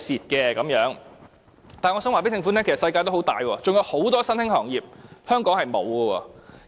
然而，我想告訴政府，世界很大，還有很多新興行業是香港沒有的。